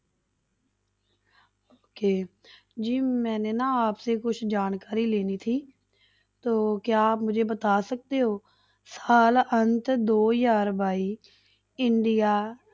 Okay ਜੀ ਮੈਨੇ ਨਾ ਕੁਛ ਜਾਣਕਾਰੀ ਸਾਲ ਅੰਤ ਦੋ ਹਜ਼ਾਰ ਬਾਈ ਇੰਡੀਆ